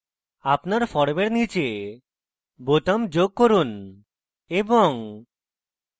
আপনার ফর্মের নীচে বোতাম যোগ করুন এবং